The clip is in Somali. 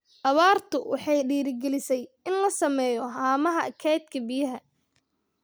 Abaartu waxay dhiirigelisay in la sameeyo haamaha kaydka biyaha.